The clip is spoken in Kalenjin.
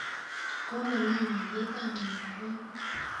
kokolany alietap amitwokik